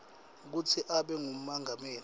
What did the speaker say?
kutsi abe ngumengameli